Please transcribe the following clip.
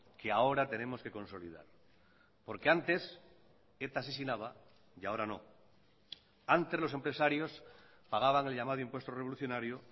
que ahora tenemos que consolidar porque antes eta asesinaba y ahora no antes los empresarios pagaban el llamado impuesto revolucionario